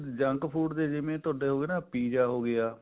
junk food ਤੁਹਾਡੇ ਹੋਗੇ ਨਾ ਜਿਵੇਂ pizza ਹੋਗਿਆ